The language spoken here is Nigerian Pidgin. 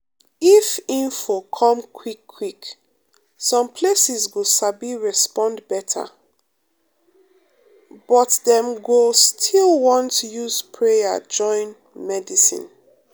if info come quick quick some places go sabi respond better um but dem go um still want use prayer join um medicine.